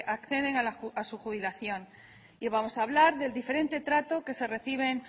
acceden a su jubilación y vamos a hablar del diferente trato que reciben